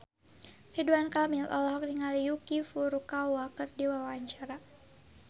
Ridwan Kamil olohok ningali Yuki Furukawa keur diwawancara